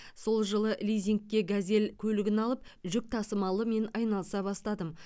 сол жылы лизингке газель көлігін алып жүк тасымалымен айналыса бастадым